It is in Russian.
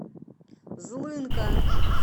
злынка